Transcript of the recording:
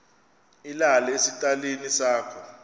ilale esitalini sakho